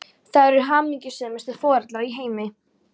Þau eru hamingjusömustu foreldrar í heimi!